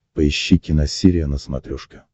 поищи киносерия на смотрешке